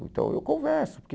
Então eu converso, porque...